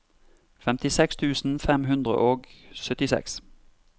femtiseks tusen fem hundre og syttiseks